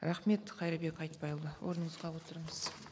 рахмет қайырбек айтбайұлы орныңызға отырыңыз